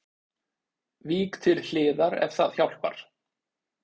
Vík til hliðar ef það hjálpar